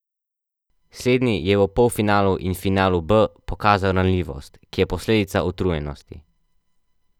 Slednji je v polfinalu in finalu B pokazal ranljivost, ki je posledica utrujenosti.